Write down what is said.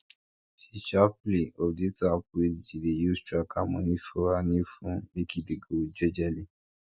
she sharperly update app wey she dey use track her money for her new phone make e dey go jejely